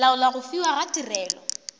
laola go fiwa ga tirelo